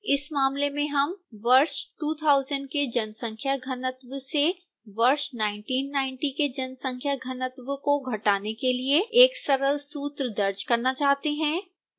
इस मामले में हम वर्ष 2000 के जनसंख्या घनत्व से वर्ष 1990 के जनसंख्या घनत्व को घटाने के लिए एक सरल सूत्र दर्ज करना चाहते हैं